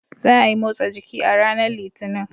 Za a yi motsa jiki a ranar Litinin.